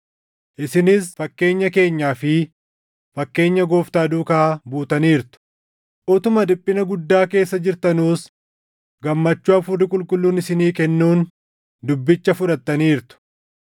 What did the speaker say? Isinis fakkeenya keenyaa fi fakkeenya Gooftaa duukaa buutaniirtu; utuma dhiphina guddaa keessa jirtanuus gammachuu Hafuurri Qulqulluun isinii kennuun dubbicha fudhattaniirtu.